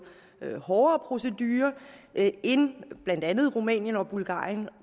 hårdere procedure end blandt andet rumænien og bulgarien og